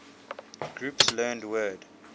groups learned word